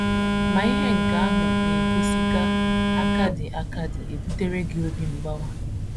Ma, ihe nke ahụ na - egosi ga - akadị - akadị ebutere gị obi mgbawa.